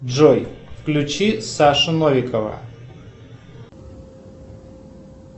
джой включи сашу новикова